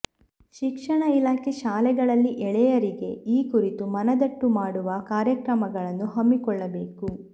ಶಿಕ್ಷಣ ಇಲಾಖೆ ಶಾಲೆ ಗಳಲ್ಲಿ ಎಳೆಯರಿಗೆ ಈ ಕುರಿತು ಮನದಟ್ಟು ಮಾಡುವ ಕಾರ್ಯಕ್ರಮಗಳನ್ನು ಹಮ್ಮಿಕೊಳ್ಳಬೇಕು